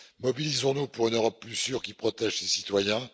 Mobilisons nous pour une Europe plus sûre qui protège ses citoyens.